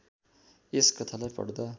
यस कथालाई पढ्दा